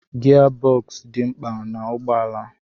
Gia bọksụ dị mkpa n'ụgbọala.